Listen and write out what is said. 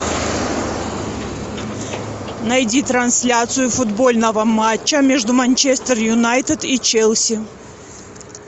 найди трансляцию футбольного матча между манчестер юнайтед и челси